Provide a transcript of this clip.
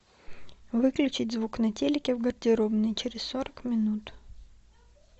выключить звук на телике в гардеробной через сорок минут